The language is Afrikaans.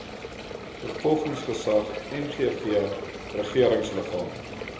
vervolgingsgesag nvg regeringsliggaam